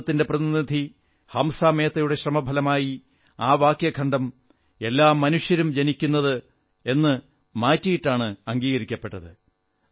ഭാരതത്തിന്റെ പ്രതിനിധി ഹംസാ മേത്തയുടെ ശ്രമഫലമായി ആ വാക്യഖണ്ഡം എല്ലാ മനുഷ്യരും ജനിക്കുന്നത് സ്വതന്ത്രരും സമത്വമുള്ളവരായുമാണെന്നാക്കി മാറ്റിയിട്ടാണ് അംഗീകരിക്കപ്പെട്ടത്